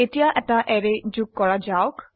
এতিয়া এটা অ্যাৰে যোগ কৰা যাওক